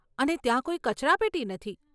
અને ત્યાં કોઈ કચરાપેટી નથી.